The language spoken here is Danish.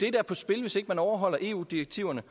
er på spil hvis ikke man overholder eu direktiverne